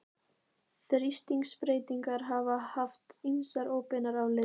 Þrýstingsbreytingar hafa haft ýmsar óbeinar afleiðingar.